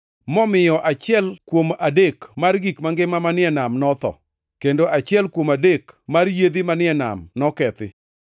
momiyo achiel kuom adek mar gik mangima manie nam notho, kendo achiel kuom adek mar yiedhi manie nam nokethi.